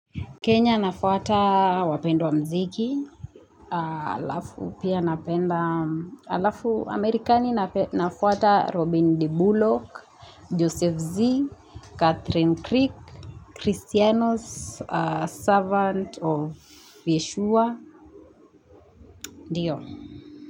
Kenya nafuata wapendwa mziki, alafu pia napenda, alafu Amerikani nafuata Robin D. Bullock, Joseph Z., Catherine Crick, Christianos, servant of Yeshua, ndio.